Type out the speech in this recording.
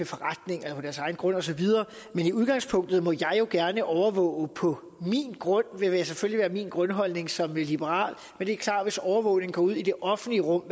forretninger på deres egen grund osv men i udgangspunktet må jeg jo gerne overvåge på min grund det er selvfølgelig min grundholdning som liberal men det er klart at hvis overvågning går ud i det offentlige rum